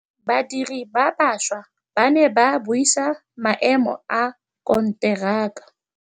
Badiri ba baša ba ne ba buisa maêmô a konteraka.